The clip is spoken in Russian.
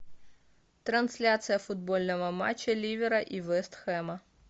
трансляция футбольного матча ливера и вест хэма